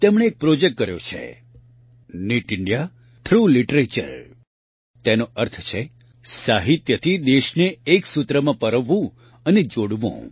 તેમણે એક પ્રોજેક્ટ કર્યો છે નિત ઇન્ડિયા થ્રોગ લિટરેચર તેનો અર્થ છે સાહિત્યથી દેશે એક સૂત્રમાં પરોવવું અને જોડવું